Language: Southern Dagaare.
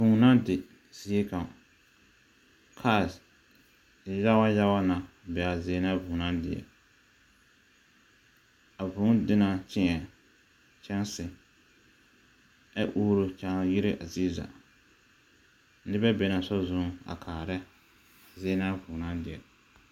Vũũ na di ziekaŋ. Kaas yage yago na bee zie na a vũũ naŋ di. A vũũ di na kyeԑ kyԑnse, ԑ uuru kyaa yire a ziezaa. Nobԑ be na a sori zu, a kaara zie na a vũũ naŋ di.